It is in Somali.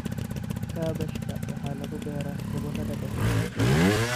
Kaabashka waxaa lagu beeraa gobollada dhexe.